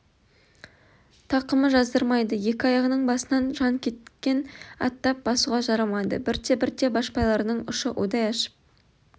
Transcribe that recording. тақымы жаздырмайды екі аяғының басынан жан кеткен аттап басуға жарамады бірте-бірте башпайларының ұшы удай ашып